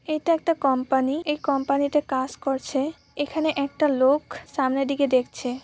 এটা একটা কম্পানি এই কম্পানি তে কাজ করছে এখানে একটা লোক সামনের দিকে দেখছে ।